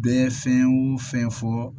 Bɛɛ fɛn o fɛn fɔ